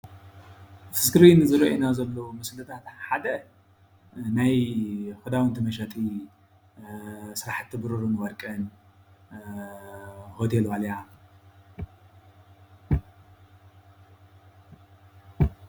እቲ እስክሪን ዝርአየና ዘሎ ምስልታት ሓደ ናይ ኽዳውንታ መሸጢ ሰራሕቲ ብሩርን ወርቅን ሆቴል ዋልያ ።